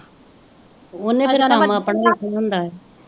ਓਹਨੇ ਫਿਰ ਆ ਕੰਮ ਆਪਣਾ ਵੇਖਣਾ ਹੁੰਦਾ ਏ।